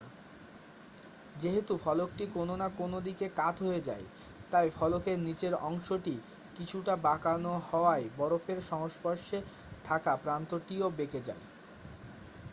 যেহেতু ফলকটি কোন না কোন দিকে কাত হয়ে যায় তাই ফলকের নীচের অংশটি কিছুটা বাঁকানো হওয়ায় বরফের সংস্পর্শে থাকা প্রান্তটিও বেঁকে যায়